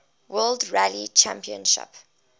world rally championship